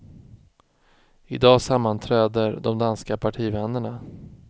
I dag sammanträder de danska partivännerna.